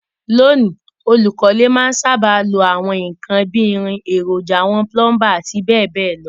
Lóní, olùkọ́lé má n sábà lo àwon nkan bi irin, èròjà àwon plumber àti béèbéè lo